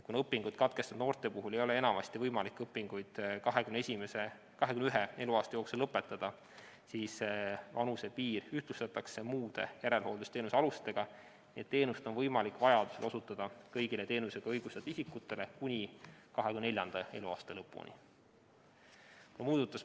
Kuna õpingud katkestanud noorte puhul ei ole enamasti võimalik õpinguid 21 eluaasta jooksul lõpetada, siis see vanusepiir ühtlustatakse muude järelhooldusteenuse alustega, et teenust oleks võimalik vajaduse korral osutada kõigile teenusele õigustatud isikutele kuni 24. eluaasta lõpuni.